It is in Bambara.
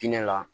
Diinɛ la